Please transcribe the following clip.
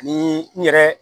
Ni n yɛrɛ